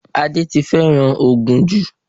Adé ti fẹ́ràn ògùn jù